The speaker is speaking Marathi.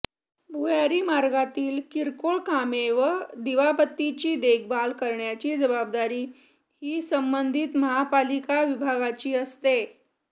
भुयारी मार्गातील किरकोळ कामे व दिवाबत्तीची देखभाल करण्याची जबाबदारी ही संबंधित महापालिका विभागाची असते